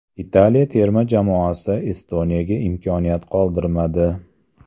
Italiya terma jamoasi Estoniyaga imkoniyat qoldirmadi.